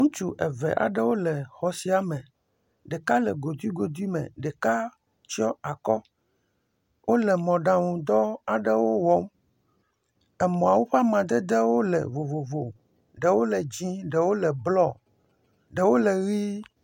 Ŋutsu eve aɖewo le xɔ sia me, ɖeka le godui godui me, ɖeka tsyɔ akɔ, wole mɔɖaŋu dɔ aɖewo wɔm, emɔawo ƒe amadedewo le vovovo. Ɖewo le dzɛ̃, ɖewo le blɔ, ɖewo le ʋɛ̃.